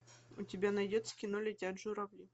у тебя найдется кино летят журавли